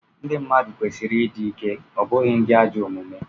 ndị mmadụ kwesịrị ịdị ike, ọ bụghị ndị ajọ omume